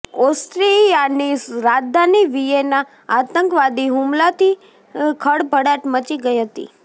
ઓસ્ટ્રિયાની રાજધાની વિયેના આતંકવાદી હુમલાથી ખળભળાટ મચી ગઈ હતી